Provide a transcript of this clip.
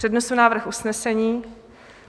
Přednesu návrh usnesení.